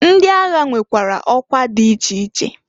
Ndi agha nwekwara ọkwa di iche iche.